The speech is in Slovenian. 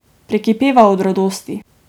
Prekipeva od radosti.